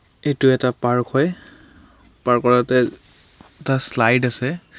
এইটো এটা পাৰ্ক হয়. পাৰ্ক ৰ তাতে এটা শ্লাইড আছে.